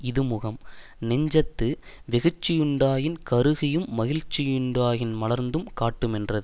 இது முகம் நெஞ்சத்து வெகுட்சி யுண்டாயின் கருகியும் மகிழ்ச்சியுண்டாயின் மலர்ந்தும் காட்டுமென்றது